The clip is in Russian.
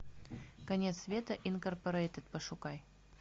конец света инкорпорейтед пошукай